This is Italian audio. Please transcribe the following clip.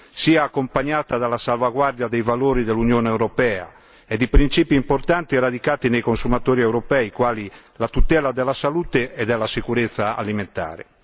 sia accompagnata dalla salvaguardia dei valori dell'Unione europea e di principi importanti radicati nei consumatori europei, quali la tutela della salute e della sicurezza alimentare.